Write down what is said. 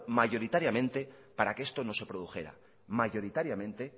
mayoritariamente para que esto no se produjera mayoritariamente